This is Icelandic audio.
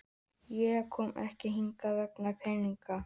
Ég kom ekki hingað vegna peningana.